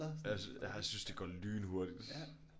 Jeg jeg har synes det går lynhurtigt